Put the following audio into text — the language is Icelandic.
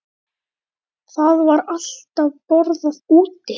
Það var alltaf borðað úti.